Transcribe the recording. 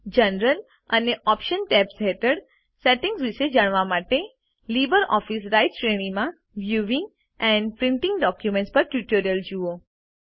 general અને options tabs હેઠળના settings વિશે જાણવા માટે લીબરઓફીસ રાઈટર શ્રેણીમાં વ્યૂઇંગ એન્ડ પ્રિન્ટિંગ ડોક્યુમેન્ટ્સ પરનું ટ્યુટોરીયલ જુઓ